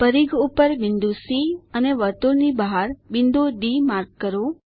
પરિઘ ઉપર બિંદુ સી અને વર્તુળની બહાર બિંદુ ડી માર્ક કરો